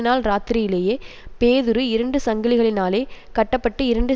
நாள் இராத்திரியிலேயே பேதுரு இரண்டு சங்கிலிகளினாலே கட்ட பட்டு இரண்டு